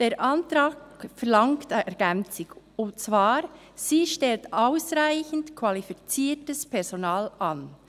Der Antrag verlangt eine Ergänzung, und zwar «Sie stellt ausreichend qualifiziertes Fachpersonal an».